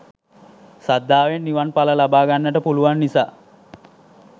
ශ්‍රද්ධාවෙන් නිවන් ඵල ලබා ගන්නට පුළුවන් නිසා